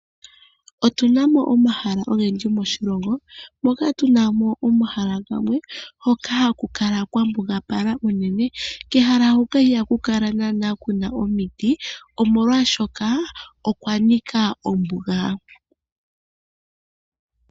Otuna mo omahala ogendji moshilongo, mpoka tu na mo omahala gamwe hoka ha ku kala kwa mbugapala unene. Kehala huka iha ku kala naana kuna omiti molwaashoka okwa nika ombuga.